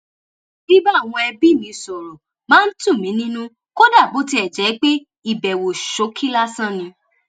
bíbá àwọn ẹbí mi sọ̀rọ̀ máa ń tù mí nínú kódà bó tiẹ̀ jẹ́ pé ìbẹ̀wò ṣókí lásán ni